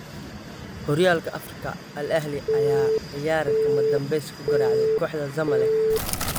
Xooryalka afrika : Al Ahly ayaa coyaar kama danbesta ku garaacday kooxda Zamalek